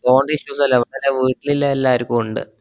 ഫോണിന്‍റെ issues അല്ല. ഇവ്ടെ വീട്ടില്‍ ഉള്ള എല്ലാര്ക്കും ഉണ്ട്.